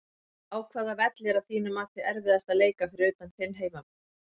Á hvaða velli er að þínu mati erfiðast að leika fyrir utan þinn heimavöll?